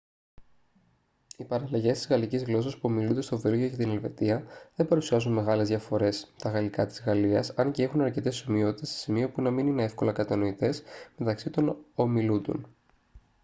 οι παραλλαγές της γαλλικής γλώσσας που ομιλούνται στο βέλγιο και την ελβετία δεν παρουσιάζουν μεγάλες διαφορές τα γαλλικά της γαλλίας αν και έχουν αρκετές ομοιότητες σε σημείο που να είναι εύκολα κατανοητές μεταξύ τωβ ομιλούντων